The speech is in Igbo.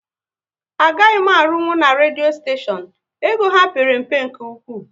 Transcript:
Agaghị m arunwu na redio steshion, ego ha père mpe nke ụkwụ